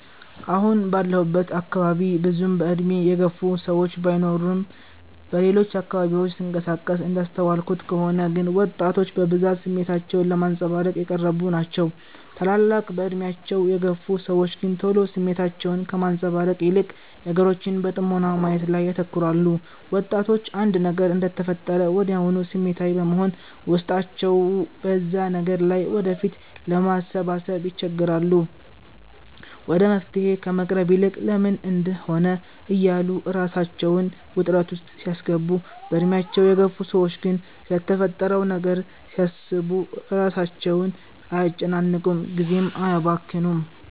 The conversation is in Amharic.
አሁን ባለሁበት አካባቢ ብዙም በእድሜ የገፉ ሰዎች ባይኖርም በሌሎች አካባቢዎች ስንቀሳቀስ እንዳስተዋልኩት ከሆነ ግን ወጣቶች በብዛት ስሜታቸውን ለማንፀባረቅ የቀረቡ ናቸው። ታላላቅ በእድሜያቸው የግፍ ሰዎች ግን ቶሎ ስሜታቸውን ከማንፀባረቅ ይልቅ ነገሮችን በጥሞና ማየት ላይ ያተኩራሉ። ወጣቶች አንድ ነገር እንደተፈጠረ ወድያውኑ ስሜታዊ በመሆን ውስጣቸው በዛ ነገር ላይ ወደፊት ለማሰባሰብ ይቸገራሉ። ወደ መፍትሔ ከመቅረቡ ይልቅ "ለምን እንድህ ሆነ" እያሉ ራሳቸውን ውጥረት ውስጥ ሲያስገቡ፤ በእድሜያቸው የገፉ ሰዎች ግን ስለተፈጠረው ነገር እያሰቡ ራሳቸውን አያጨናንቁም ጊዜም አያባክኑም።